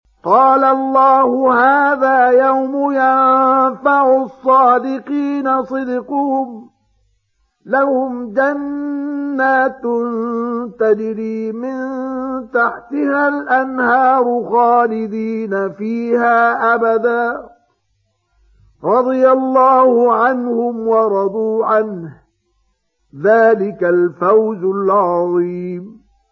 قَالَ اللَّهُ هَٰذَا يَوْمُ يَنفَعُ الصَّادِقِينَ صِدْقُهُمْ ۚ لَهُمْ جَنَّاتٌ تَجْرِي مِن تَحْتِهَا الْأَنْهَارُ خَالِدِينَ فِيهَا أَبَدًا ۚ رَّضِيَ اللَّهُ عَنْهُمْ وَرَضُوا عَنْهُ ۚ ذَٰلِكَ الْفَوْزُ الْعَظِيمُ